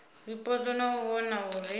zwipotso na u vhona uri